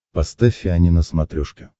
поставь ани на смотрешке